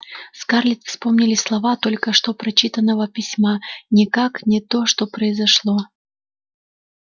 скарлетт вспомнились слова только что прочитанного письма никак не то что произошло